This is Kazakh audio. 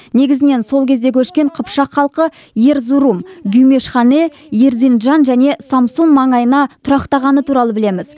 негізінен сол кезде көшкен қыпшақ халқы эрзурум гюмишхане эрзинджан және самсун маңайына тұрақтағаны туралы білеміз